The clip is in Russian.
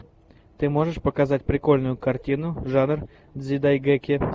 ты можешь показать прикольную картину жанр дзидайгэки